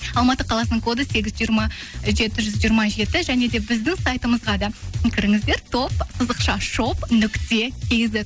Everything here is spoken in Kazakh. алматы қаласының коды сегіз жиырма жеті жүз жиырма жеті және де біздің сайтымызға да кіріңіздер топ сызықша шоп нүкте кизет